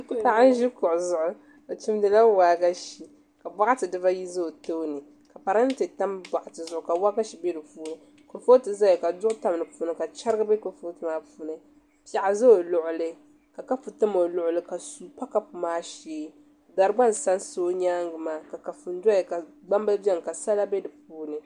Paɣa n ʒi kuɣu zuɣu o chimdila waagashe ka boɣati dibayi ʒɛ o tooni ka parantɛ tam boɣati zuɣu ka waagashe bɛ di puuni kurifooti ʒɛya ka duɣu tam di puuni ka chɛrigi bɛ kurifooti maa puuni piɛɣu ʒɛ o luɣuli ka kapu tam o luɣuli ka suu pa kapu maa shee dari gba n sansa o nyaanga maa ka kafuni bɛni ka gbambili bɛni ka sala bɛ di puuni